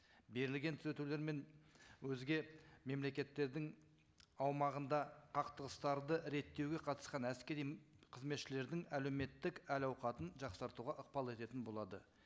берілген түзетулер мен өзге мемлекеттердің аумағында қақтығыстарды реттеуге қатысқан әскери қызметшілердің әлеуметтік әл ауқатын жақсартуға ықпал ететін болады